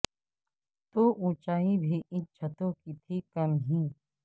تو اونچائی بھی ان چھتوں کی تھی کم ہی